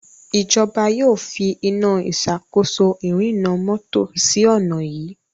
ìjọba yóò fí Iná ìṣàkóso ìrìnnà mọ́tò sí onà yí.